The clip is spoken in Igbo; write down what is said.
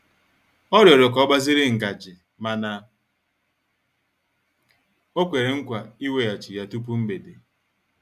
Ọ rịọrọ ka ọ gbaziri ngaji mana o kwere nkwa iweghachi ya tupu mgbede.